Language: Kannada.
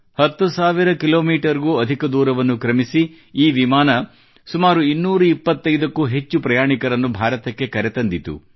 ಹತ್ತು ಸಾವಿರ ಕಿಲೋಮೀಟರ್ ಗೂ ಅಧಿಕ ದೂರವನ್ನು ಕ್ರಮಿಸಿ ಈ ವಿಮಾನ ಸುಮಾರು ಇನ್ನೂರ ಇಪ್ಪತೈದಕ್ಕೂ ಹೆಚ್ಚು ಪ್ರಯಾಣಿಕರನ್ನು ಭಾರತಕ್ಕೆ ಕರೆತಂದಿತು